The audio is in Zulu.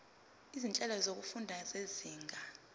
izinhlelo zokufunda zezinga